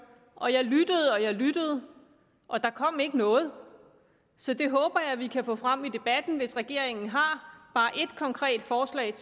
og jeg lyttede og jeg lyttede og der kom ikke noget så det håber jeg vi kan få frem i debatten hvis regeringen har bare ét konkret forslag